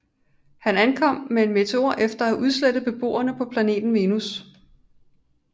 Han ankom med en meteor efter at have udslettet beboerne på planeten Venus